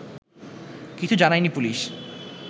কিছু জানায়নি পুলিশ